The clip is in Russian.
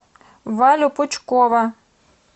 валю пучкова